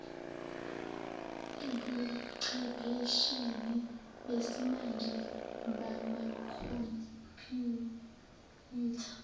ebuchephesheni besimanje bamakhompuyutha